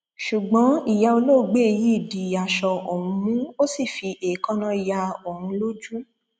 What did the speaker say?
ṣùgbọn ìyá olóògbé yìí di aṣọ òun mú ó sì fi èékánná ya òun lójú